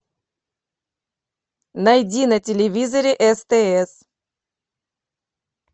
найди на телевизоре стс